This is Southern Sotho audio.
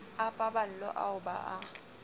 a paballo ao ba a